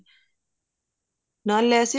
ਨਾਲ raises